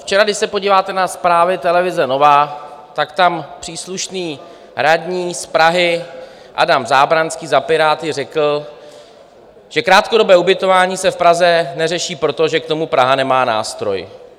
Včera, když se podíváte na zprávy televize Nova, tak tam příslušný radní z Prahy Adam Zábranský za Piráty řekl, že krátkodobé ubytování se v Praze neřeší, protože k tomu Praha nemá nástroj.